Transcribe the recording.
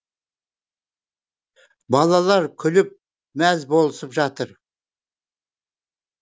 балалар күліп мәз болысып жатыр